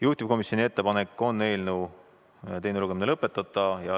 Juhtivkomisjoni ettepanek on eelnõu teine lugemine lõpetada.